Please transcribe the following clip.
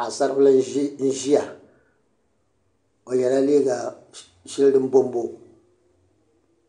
Paɣ'saribila n ʒia o yela liiga sheli din bombom